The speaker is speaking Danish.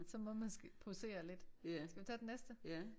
Så må man posere lidt. Skal vi tage den næste?